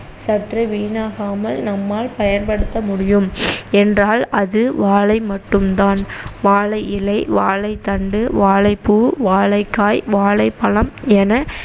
சற்று வீணாகாமல் நம்மால் பயன்படுத்த முடியும் என்றால் அது வாழை மட்டும் தான் வாழை இலை, வாழைத்தண்டு, வாழைப்பூ, வாழைக்காய், வாழைப்பழம் என